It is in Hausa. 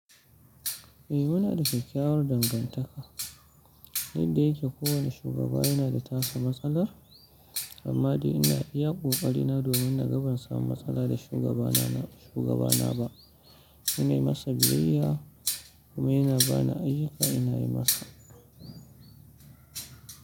Eh muna da kyakyawar dangantaka, inda yake kowane shugaba yana da tasa matsalar amma dai ina iya ƙoƙari na domin na ga ban samu matsala da shugabana na shugabana ba. Ina yi masa biyayya kuma yana bani ayyuka ina yi masa.